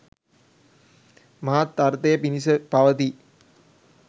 මහත් අර්ථය පිණිස පවතියි.